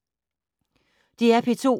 DR P2